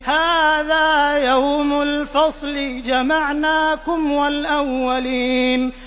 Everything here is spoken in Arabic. هَٰذَا يَوْمُ الْفَصْلِ ۖ جَمَعْنَاكُمْ وَالْأَوَّلِينَ